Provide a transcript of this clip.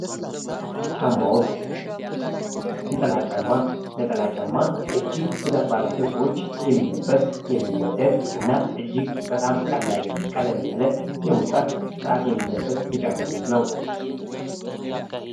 ጫማዎች ነጠላ ጫማ እጅግ ብዛት ባላቸው ሰዎች የሚለበስ የሚወደድ እና እጅግ በጣም ቀለል ያለ የሙቀት ሰዓት የሚለበስ የጫም አይነት ነው።